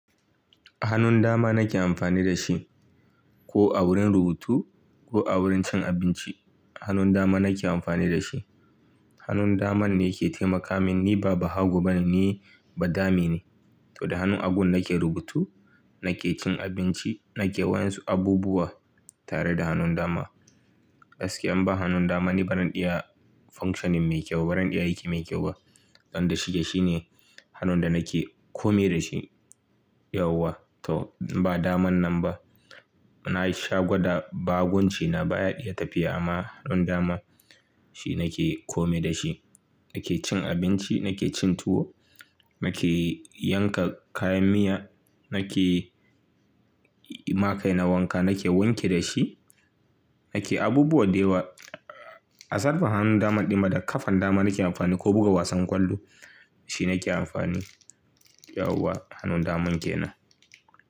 Hanun dama nake amfani da shi ko a wurin rubutu ko a wurin cin abinci hanun dama nake amfani da shi. Hanun daman ne ke taimaka min niba bahago bane, ni ba dame ne. To da hannun hagun nake rubutu nakecin abinci nake wa'insu abubuwa da hannun dama. Aske an ba hannun dama ne, ba zan iya functioning mai kyau ba, ba zan iya aiki mai kyau ba. Dan da shike shine hannun da nake kome da shi yauwa. To in ba daman nan ba. Na yi shagwada, ba hagunci na baya iya tafiya amma hannun dama shi nake kome da shi. Nake cin abinci, nake cin tuwo, nake yanka kayan miya, nake ma kaina wanka nake wanki dashi nake abubuwa dayawa, aside for hannun daman ɗinma da kafan dama nake amfani ko buga wasan ƙwallo dashi nake amfani yawwa hannun daman kenan.